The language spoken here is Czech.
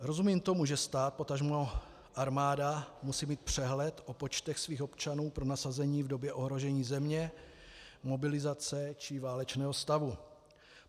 Rozumím tomu, že stát potažmo armáda musí mít přehled o počtech svých občanů pro nasazení v době ohrožení země, mobilizace či válečného stavu.